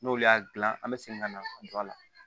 N'olu y'a gilan an bɛ segin ka na don a la